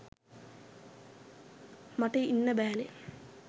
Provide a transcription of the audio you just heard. මට ඉන්න බැහැනෙ.